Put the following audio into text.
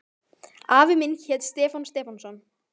Afi minn hét Stefán Stefánsson.